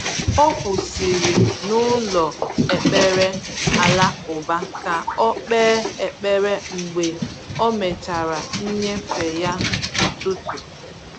O kwụsịrị n’ụlọ ekpere alakụba ka o kpee ekpere mgbe o mechara nnyefe ya ụtụtụ.